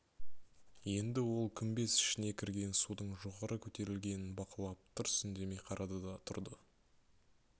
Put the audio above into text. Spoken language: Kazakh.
енді ол күмбез ішіне кірген судың жоғары көтерілгенін бақылап тырс үндемей қарады да тұрды